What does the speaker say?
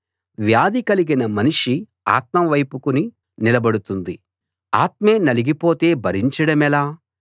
వ్యాధి కలిగినా మనిషి ఆత్మ వైపుకుని నిలబడుతుంది ఆత్మే నలిగిపోతే భరించడమెలా